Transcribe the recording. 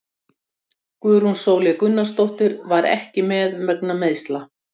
Guðrún Sóley Gunnarsdóttir var ekki með vegna meiðsla.